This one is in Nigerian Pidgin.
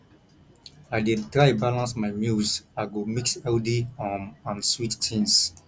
i dey try balance my meals i go mix healthy um and sweet things